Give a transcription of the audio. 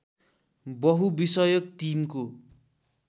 बहुविषयक टिमको